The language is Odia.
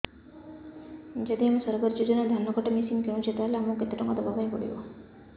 ଯଦି ଆମେ ସରକାରୀ ଯୋଜନାରେ ଧାନ କଟା ମେସିନ୍ କିଣୁଛେ ତାହାଲେ ଆମକୁ କେତେ ଟଙ୍କା ଦବାପାଇଁ ପଡିବ